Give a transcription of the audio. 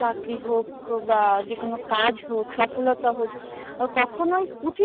চাকরি হোক বা যে কোনো কাজ হোক সফলতা হোক কখনোই পুচি